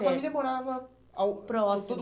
sua família morava... ao Próximo.